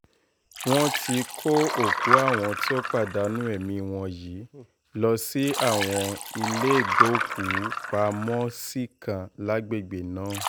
wọ́n ti kó òkú àwọn tó pàdánù ẹ̀mí wọn yìí lọ sí àwọn iléégbòkúù-pamọ́-sí kan lágbègbè náà